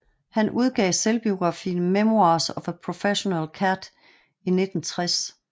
Han udgav selvbiografien Memoirs of a Professional Cad i 1960